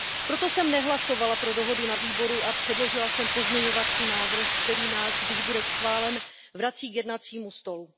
Proto jsem nehlasovala pro dohodu na výboru a předložila jsem pozměňovací návrh, který nás, když bude schválen, vrací k jednacímu stolu.